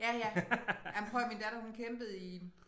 Ja ja ej men prøv at høre min datter hun kæmpede i